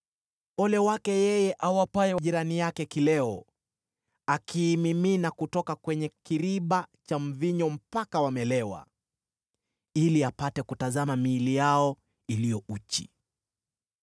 “Ole wake yeye awapaye jirani zake kileo, akiimimina kutoka kwenye kiriba cha mvinyo mpaka wamelewa, ili apate kutazama miili yao iliyo uchi.